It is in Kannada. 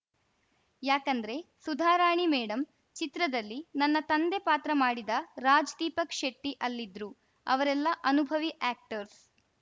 ಯಾಕಂದ್ರೆ ಸುಧಾರಾಣಿ ಮೇಡಂ ಚಿತ್ರದಲ್ಲಿ ನನ್ನ ತಂದೆ ಪಾತ್ರ ಮಾಡಿದ ರಾಜ್‌ದೀಪಕ್‌ ಶೆಟ್ಟಿಅಲ್ಲಿದ್ರು ಅವರೆಲ್ಲ ಅನುಭವಿ ಆ್ಯಕ್ಟರ್ಸ್‌